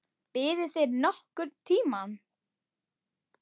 Biðuð þið nokkurn tíma?